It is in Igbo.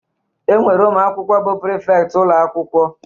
E nwere ụmụakwụkwọ bụ prịfektị ụlọakwụkwọ